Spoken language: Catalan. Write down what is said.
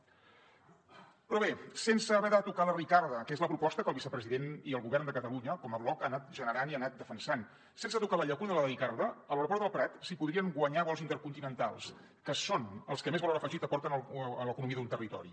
però bé sense haver de tocar la ricarda que és la proposta que el vicepresident i el govern de catalunya com a bloc han anat generant i han anat defensant sense tocar la llacuna de la ricarda a l’aeroport del prat s’hi podrien guanyar vols intercontinentals que són els que més valor afegit aporten a l’economia d’un territori